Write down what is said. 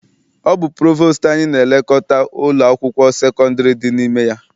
Ọ bụ provostu anyị na-elekọta ụlọ akwụkwọ sekondiri dị n'ime ya.